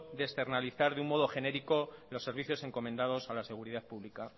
de externalizar de un modo genérico los servicios encomendados a la seguridad pública